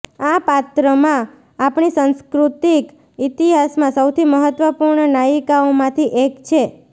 આ પાત્રમાં આપણી સાંસ્કૃતિક ઈતિહાસમાં સૌથી મહત્વપૂર્ણ નાયિકાઓમાંથી એક છે